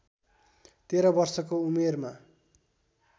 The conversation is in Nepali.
१३ वर्षको उमेरमा